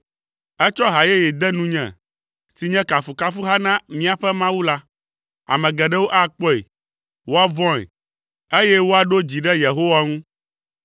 Etsɔ ha yeye de nunye si nye kafukafuha na míaƒe Mawu la. Ame geɖewo akpɔe, woavɔ̃e, eye woaɖo dzi ɖe Yehowa ŋu.